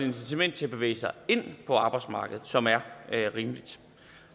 incitament til at bevæge sig ind på arbejdsmarkedet som er rimeligt